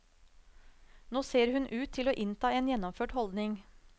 Nå ser hun ut til å innta en gjennomført holdning.